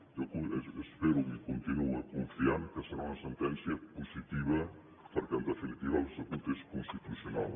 jo espero i continuo confiant que serà una sentència positiva perquè en definitiva l’estatut és constitucional